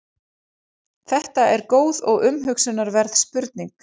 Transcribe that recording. Þetta er góð og umhugsunarverð spurning.